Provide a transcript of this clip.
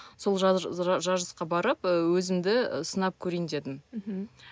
сол жарысқа барып ы өзімді ы сынап көрейін дедім мхм